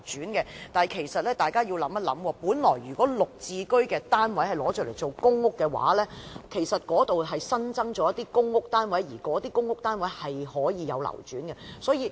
但是，大家其實要想一想，本來"綠置居"的單位若用作公屋，便可新增一些公屋單位，而那些公屋單位是可以流轉的。